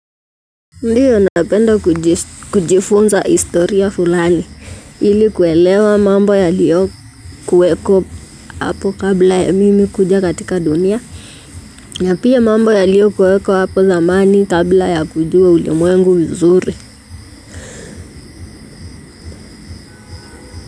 Ndiyo, napenda kujifunza historia fulani ili kuelewa mambo yaliyokuwepo. Hapo kabla ya mimi kuja katika dunia na pia mambo yaliyokuwepo apo zamani kabla ya kujua ulimwengu vizuri.